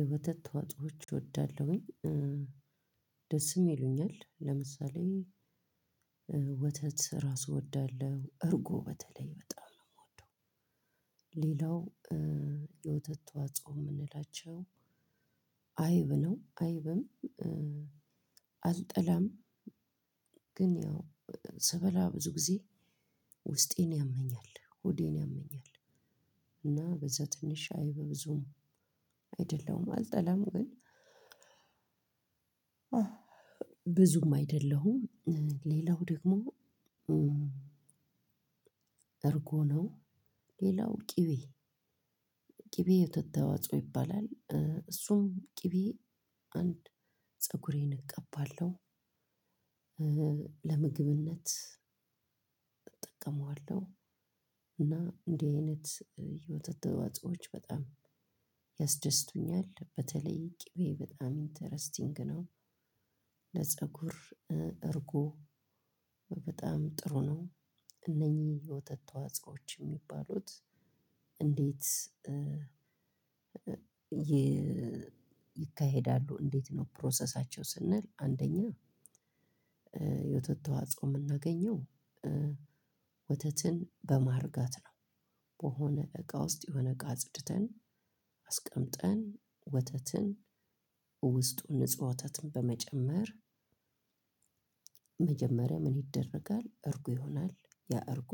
የወተት ተዋጾዎች እወዳለሁኝ ደስም ይሉኛል ለምሳሌ ወተት ራሱ እወዳለሁ እርጎ በተለይ በጣም ነው የምወደው። ሌላው የወተት ተዋጾ የምንላቸው አይብ ነው አይብም። አልጠላም። ግን ያው ስበላ ብዙ ጊዜ ውስጤን ያመኛል ሆዴን ያመኛል። እና በዛ ትንሽ አይብ ብዙም አይደለሁም አልጠላም ግን ብዙም አይደለሁም። ሌላው ደግሞ እርጎ ነው። ሌላው ቂቤ ቂቤ የወተት ተዋጽኦ ይባላል እሱም ቂቤ አንድ ፀጉሬን እቀባለሁ። ለምግብነት እጠቀመዋለሁ። እና እንዲህ አይነት የወተት ተዋጽኦዎች በጣም ያስደስቱኛል። በተለይ ቂቤ በጣም ኢንተረስቲንግ ነው። ለጸጉር እርጎ በጣም ጥሩ ነው። እነኚህ የወተት ተዋጽኦዎች የሚባሉት እንዴት ይካሄዳሉ? እንዴት ነው ፕሮሰሳቸው? ስንል አንደኛ የወተት ተዋጻኦ የምናገኘው ወተትን በማርጋት በሆነ እቃ ውስጥ የሆነ እቃ አጽድተን አስቀምጠን ወተትን ውስጡ ንጹህ ወተትን በመጨመር መጀመሪያ ምን ይደረጋል እርጎ ይሆናል። ያ እርጎ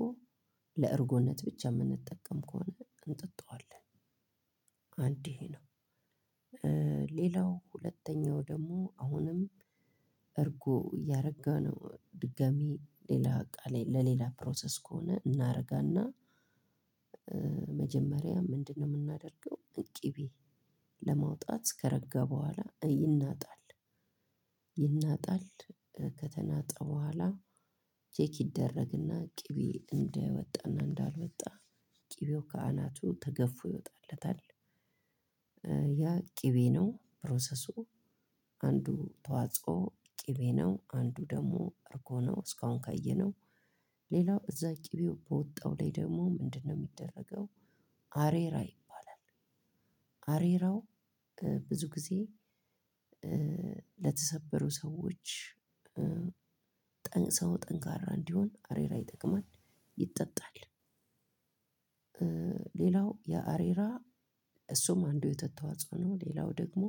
ለእርጎነት ብቻ የምንጠቀም ከሆነ እንጠጣዋለን። አንድ ይሄ ነው። ሌላው ሁለተኛው ደግሞ አሁንም እርጎ እያረጋነው ድጋሚ ሌላ እቃ ላይ ለሌላ ፕሮሰስ ከሆነ እናረጋና መጀመሪያ ምንድነው የምናደርገው? ቅቤ ለማውጣት ከረጋ በኋላ ይናጣል ይናጣል ከተናጠ በኋላ ቼክ ይደረግና ቅቤ እንደወጣና እንዳልወጣ ቅቤው ከአናቱ ተገፍፎ ይወጣለታል። ያ ቅቤ ነው ፕሮሰሱ። አንዱ ተዋጽኦ ቅቤ ነው አንዱ ደግሞ እርጎ ነው። እስካሁን ካየነው ሌላው እዛ ቅቤው በወጣው ላይ ደግሞ ምንድነው የሚደረገው? አሬራ ይባላል። አሬራው ብዙ ጊዜ ለተሰበሩ ሰዎች ጠንክሰው ጠንካራ እንዲሆን አሬራ ይጠቅማል። ይጠጣል። ሌላው የአሬራ እሱም አንዱ የወተት ተዋጽኦ ነው። ሌላው ደግሞ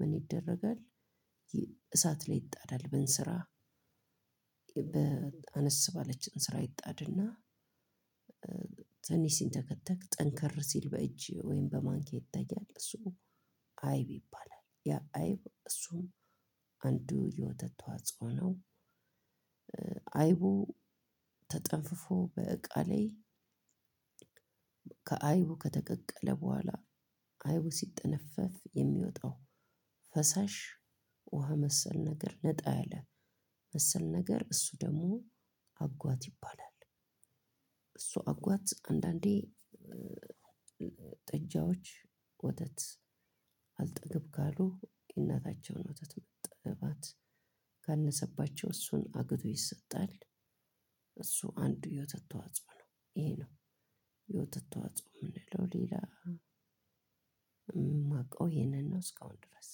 ምን ይደረጋል? ይ እሳት ላይ ይጣዳል በእንስራ በአነስ ባለች እንስራ ይጣድና ትንሽ ሲንተከተክ ጠንከር ሲል በእጅ ወይም በማንኪያ ይታያል እሱ አይብ ይባላል። ያ አይብ እሱን አንዱ የወተት ተዋጽኦ ነው። አይቡ ተጠንፍፎ በእቃ ላይ ከአይቡ ከተቀቀለ በኋላ አይቡ ሲጠነፈፍ የሚወጣው ፈሳሽ ውሃ መሰል ነገር ነጣ ያለ መሰል ነገር እሱ ደግሞ አጓት ይባላል። እሱ አ አጓት አንዳንዴ ጥጃዎች ወተት አልጠግብ ካሉ የእናታቸውን ወተት መጥባት ካነሰባቸው እሱን አግቶ ይሰጣል። እሱ አንዱ የወተት ተዋጽኦ ነው ይሄ ነው። የወተት ተዋጽኦ የምንለው ሌላ የማውቀው ይሄንን ነው እስካሁን ድረስ።